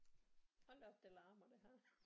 Hold da op det larmer det her